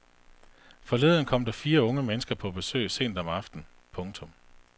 Forleden kom der fire unge mennesker på besøg sent om aftenen. punktum